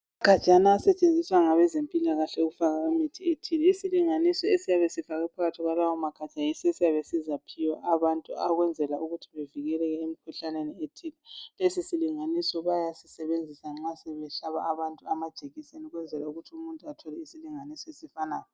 Amagajana asetshenziswa ngabezimpilakahle ukufaka imithi ethile. Isilinganizo esiyabe sifakwe phakathi kwalawo magabha yiso esiyabe sizaphiwa abantu ukwenzela ukuthi bavikeleke emkhuhlaneni ethile. Lesi silinganiso bayasisebenzisa nxa besehlaba abantu amajekiseni ukwenzela ukuthi umuntu athole isilinganiso esifanayo.